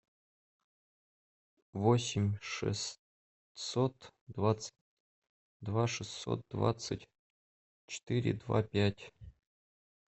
восемь шестьсот двадцать два шестьсот двадцать четыре два пять